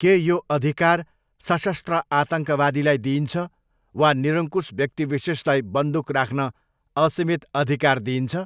के यो अधिकार सशस्त्र आतङ्कवादीलाई दिइन्छ वा निरंकुश व्यक्तिविशेषलाई बन्दुक राख्न असीमित अधिकार दिइन्छ?